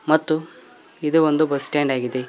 ಮತ್ತು ಇದು ಒಂದು ಬಸ್ ಸ್ಟ್ಯಾಂಡ್ ಆಗಿದೆ.